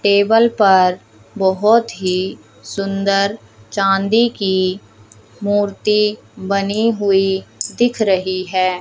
Table पर बहोत ही सुंदर चांदी की मूर्ति बनी हुई दिख रही है।